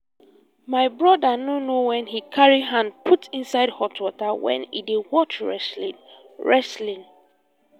my broda no know wen he carry hand put inside hot water wen he dey watch wrestling wrestling